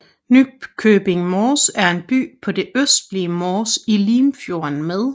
Nykøbing Mors er en by på det østlige Mors i Limfjorden med